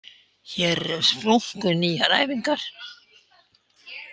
Hér eru splunkunýjar æfingar